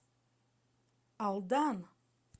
алдан